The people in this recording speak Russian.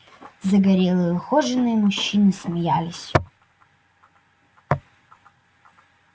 загорелые ухоженные мужчины смеялись